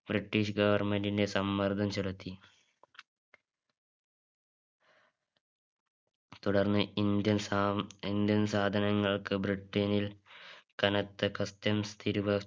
british government ന്റെ സമ്മർദം ചെലുത്തി തുടർന്ന് indian സാധ സാധനങ്ങൾക്ക് ബ്രിട്ടനിൽ കനത്ത Customs തിരുവ